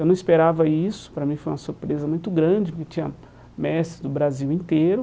Eu não esperava isso, para mim foi uma surpresa muito grande, porque tinha mestres do Brasil inteiro.